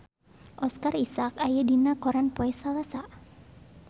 Oscar Isaac aya dina koran poe Salasa